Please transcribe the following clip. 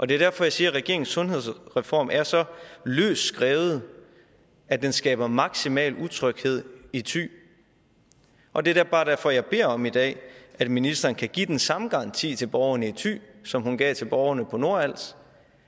det er derfor jeg siger at regeringen sundhedsreform er så løst skrevet at den skaber maksimal utryghed i thy og det er bare derfor at jeg beder om i dag at ministeren kan give den samme garanti til borgerne i thy som hun gav til borgerne på nordals